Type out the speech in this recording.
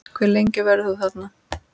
Hve lengi verður þú þarna?